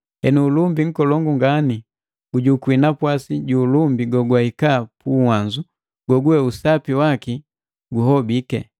Henu ulumbi nkolongu ngani gujukwi napwasi ju ulumbi gogwahika puwanzu, goguwe usapi waki guhobiki.